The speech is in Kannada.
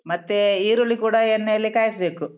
ಮತ್ತೇ ಈರುಳ್ಳಿ ಕೂಡ ಎಣ್ಣೆಯಲ್ಲಿ ಕಾಯ್ಸ್‌ಬೇಕು.